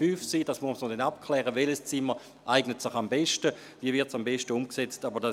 Man wird dann noch abklären müssen, welches Zimmer sich am besten eignet und wie dies am besten umgesetzt wird.